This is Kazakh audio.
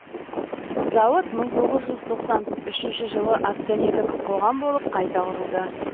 зауыт мың тоғыз жүз тоқсан үшінші жылы акционерлік қоғам болып қайта құрылды